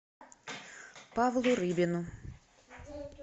павлу рыбину